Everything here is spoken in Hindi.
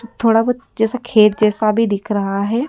थोड़ा बहुत से खेत जैसा भी दिख रहा है।